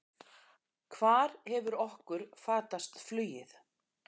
Hvar hefur okkur fatast flugið?